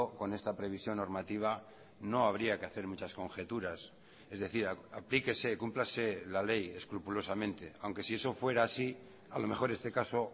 con esta previsión normativa no habría que hacer muchas conjeturas es decir aplíquese cúmplase la ley escrupulosamente aunque si eso fuera así a lo mejor este caso